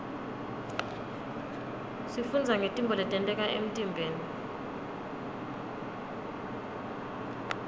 sifundza ngetintfo letenteka emtiimbeni